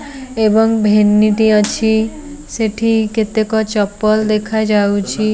ଏବଂ ଭେନିଟ୍ ଅଛି ସେଠି କେତେକ ଚପଲ ଦେଖା ଯାଉଚି।